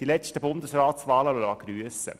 Die letzten Bundesratswahlen lassen grüssen.